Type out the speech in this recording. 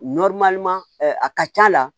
a ka c'a la